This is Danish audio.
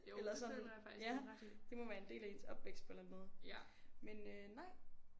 Eller sådan ja det må være en del af ens opvækst på en eller anden måde men øh nej